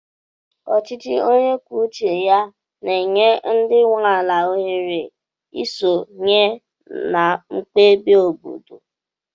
Ọchịchị onye kwuo uche ya na-enye ndị nwe ala ohere isonye na mkpebi obodo.